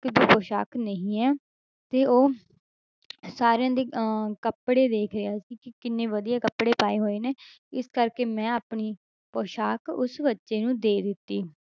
ਇੱਕ ਵੀ ਪੁਸਾਕ ਨਹੀਂ ਹੈ, ਤੇ ਉਹ ਸਾਰਿਆਂ ਦੇ ਅਹ ਕੱਪੜੇ ਵੇਖ ਰਿਹਾ ਸੀ ਕਿ ਕਿੰਨੇ ਵਧੀਆ ਕੱਪੜੇ ਪਾਏ ਹੋਏ ਨੇ, ਇਸ ਕਰਕੇ ਮੈਂ ਆਪਣੀ ਪੁਸਾਕ ਉਸ ਬੱਚੇ ਨੂੰ ਦੇ ਦਿੱਤੀ।